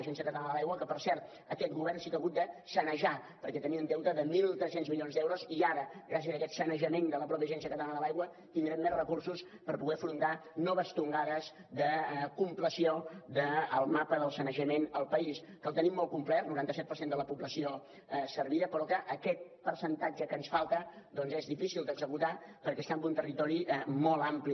agència catalana de l’aigua que per cert aquest govern sí que ha hagut de sanejar perquè tenia un deute de mil tres cents milions d’euros i ara gràcies a aquest sanejament de la mateixa agència catalana de l’aigua tindrem més recursos per poder afrontar noves tongades de compleció del mapa del sanejament al país que el tenim molt complert noranta set per cent de la població servida però que aquest percentatge que ens falta doncs és difícil d’executar perquè està en un territori molt ampli